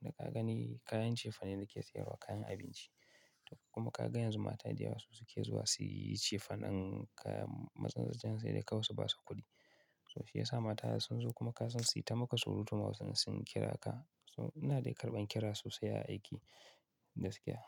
Da ka gani kayan cefane nake sayarwa, kayan abinci. Kuma ka ga yanzu mata da yawa su suke zuwa su yi cefanen kayan matsatsatsa yanzu dai da kawai su ba su kuɗi. So shi ya sa mata sun zo kuma ka san su yi ta maka surutu ma sun kira ka. So ina dai karɓan kira sosai a aiki gaskiya.